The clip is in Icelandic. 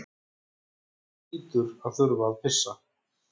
Þú hlýtur að þurfa að pissa.